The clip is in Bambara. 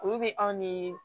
Olu bɛ aw ni